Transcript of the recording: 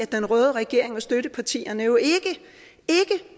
den røde regering og støttepartierne jo ikke